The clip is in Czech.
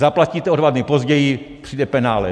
Zaplatíte o dva dny později, přijde penále.